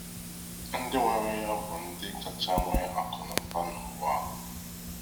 Ndi nwere ya bụ ndị kacha nwe akụnaụba n'ụwa a!